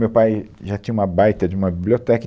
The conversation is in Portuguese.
Meu pai já tinha uma baita de uma biblioteca.